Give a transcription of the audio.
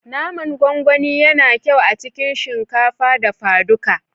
Naman gwangwani yana kyau a cikin shinkafa dafaduka